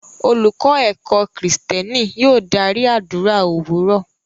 Olùkọ́ ẹ̀kọ́-Kristẹni yóò dárí àdúrà òwúrọ̀.